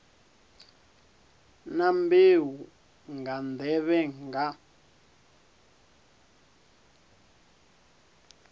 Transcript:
na mbeu nga nḓevhe nga